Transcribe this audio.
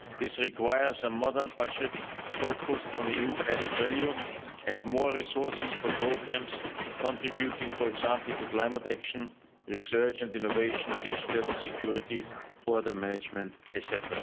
This requires a modern budget focused on EU added value, and more resources for programmes contributing, for example, to climate action, research and innovation, digital security, border management, etc.